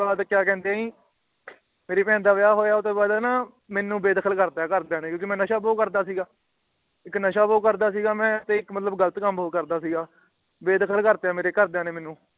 ਮੇਰੀ ਬਹਿਣ ਦਾ ਵਿਆਹ ਹੋਇਆ ਆਉਂਦੇ ਬਾਦ ਮੇਨੂ ਬੇਦਖ਼ਲ ਕਰਤਾ ਘਰਦਿਆਂ ਨੇ ਕਿਉਂਕਿ ਮੈਂ ਨਸ਼ਾ ਬਹੁਤ ਕਰਦਾ ਸੀ ਤੇ ਇਕ ਨਸ਼ਾ ਬਹੁਤ ਕਰਦਾ ਸੀਗਾ ਤੇ ਮਤਲਬ ਇਕ ਗ਼ਲਤ ਕਾਮ ਬਹੁਤ ਕਰਦਾ ਸੀਗਾ ਮੈਂ ਬੇਦਖ਼ਲ ਕਰਤਾ ਮੇਰੇ ਘਰਦਿਆਂ ਨੇ ਮੇਨੂ